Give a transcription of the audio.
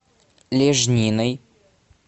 лежниной